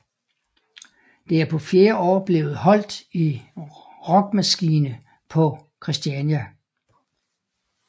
Det er på fjerde år blevet holdt i Rockmaskine på Christiania